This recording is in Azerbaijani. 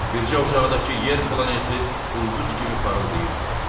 Bircə uzaqdakı yer planeti ulduz kimi parıldayırdı.